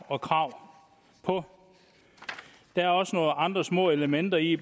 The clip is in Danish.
og krav på der er også nogle andre små elementer i